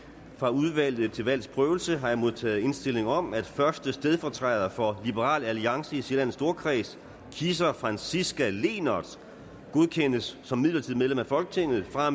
fra udvalget til valgs prøvelse har jeg modtaget indstilling om at første stedfortræder for liberal alliance i sjællands storkreds kisser franciska lehnert godkendes som midlertidigt medlem af folketinget fra